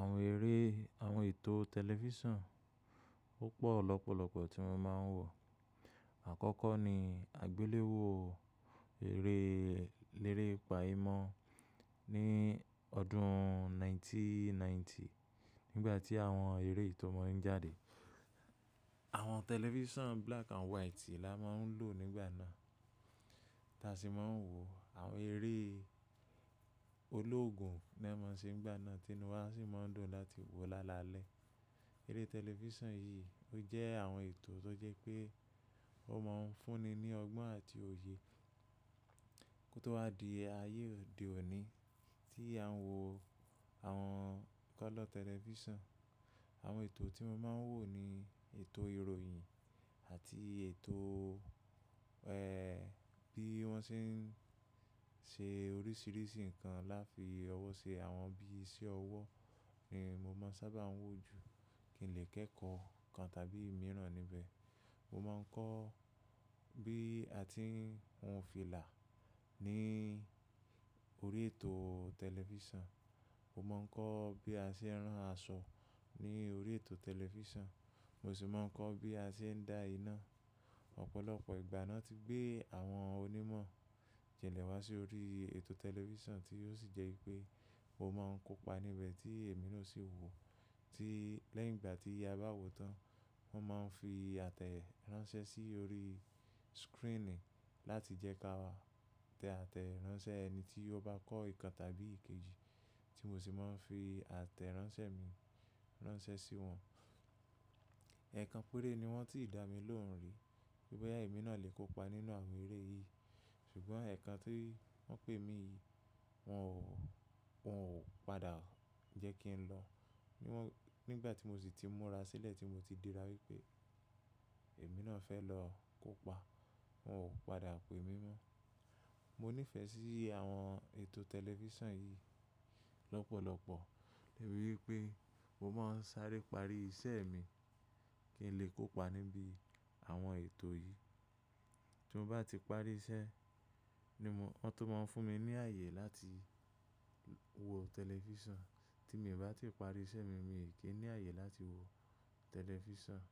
Àwọn eré, àwọn ètò tẹlifísàn púpọ̀ lọ́pọ̀lọ́pọ̀ tí mo máa ń wò. Àkọ́kọ́ ni àgbéléwò eré lérè pàyímọ́ ní ọdún 1990 nígbà tí àwọn eré ìtọ́mọ̀ ń jáde. Àwọn tẹlifísàn black and white la máa ń lò nígbà náà. Táa sì máa ń wò àwọn eré ológun ni wọ́n máa ń ṣe nígbà náà, Tinuwa sì máa ń dùn láti wo lálalẹ́. Eré tẹlifísàn yìí ó jẹ́ àwọn ètò tó jẹ́ pé ó máa ń fúnni ní ọgbọ́n àti òye kó tó wá di ayé òde òní tí a ń wò àwọn kọ́lọ̀ tẹlifísàn. Àwọn ètò tí mo máa ń wò ni ètò ìròyìn àti ètò, ẹ́, bí wọ́n ṣe ń ṣe oríṣìíríṣìí nǹkan láti fi ọwọ́ ṣe àwọn bí iṣẹ́ ọwọ́ ni mo máa ń sábà wò jù kí n lè kẹ́kọ̀ọ́ nǹkan tàbí ìmiràn níbẹ̀. Mo máa ń kọ́ bí a ti ń hun fìlà ní orí ètò tẹlifísàn. Mo máa ń kọ́ bí a ṣe ń rán aṣọ ní orí ètò tẹlifísàn. Mo sì máa ń kọ́ bí a ṣe ń da iná. Ọ̀pọ̀lọpọ̀ ìgbà náà ti gbé àwọn onímọ̀ jẹlẹ̀ wá sí orí ètò tẹlifísàn tí ó sì jẹ́ pé o máa ń kópa níbẹ̀ tí èmi ló sì wò, tí lẹ́yìn ìgbà tí a bá wò tán, wọ́n máa ń fi àtẹ̀ ránṣẹ́ sí orí screen láti jẹ́ ká wá tẹ àtẹ̀ ránṣẹ́ ẹni tí ó bá kọ́ nǹkan tàbí èkejì tí mo sì máa ń fi àtẹ̀ ránṣẹ́ mi ránṣẹ́ sí wọn. Ẹ̀ẹ̀kan péré ni wọ́n ti dà mí lóhùn rí boya ẹ́, èmi náà lè kópa nínú àwọn eré yìí. Ṣùgbọ́n ẹ̀ẹ̀kan ti won pé èmi yìí wọn ò, wọn ò padà jẹ́ kí n lọ. Ni wọ́n, nígbà tí mo sì ti múra sílẹ̀ tí mo ti dira wípé èmi náà fẹ́ lọ kópa, wọn ò padà pè mí mọ́. Mo nífẹ̀ẹ́ sí àwọn ètò tẹlifísàn yìí lọ́pọ̀lọpọ̀ nítorí pé mo máa ń sáré parí iṣẹ́ mi kí n lè kópa níbi àwọn ètò yìí. Tí mo bá ti parí iṣẹ́ ni wọ́n tó máa ń fún mi ní ààyè láti wo tẹlifísàn. Tí èmi bá ti parí iṣẹ́ mi, mi ò kí ń ní ààyè láti wo tẹlifísàn.